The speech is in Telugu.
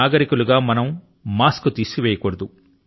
నాగరికులు గా మనం మాస్క్ ను తీసివేయకూడదు